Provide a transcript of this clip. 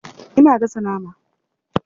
Ina gasa nama.